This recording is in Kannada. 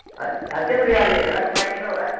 ಅ~ ಅದ್ಕೇನರ್ ಆಗ್ಲಿ ಎಲ್ಲಾರ್ಗೂ ಬಿಡಂಗಿಲ್ರೀ ಅವ್ರ?